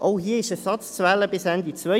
Auch hier ist Ersatz bis Ende 2022 zu wählen.